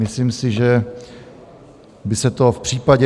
Myslím si, že by se to v případě...